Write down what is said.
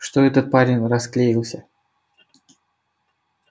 что это парень расклеился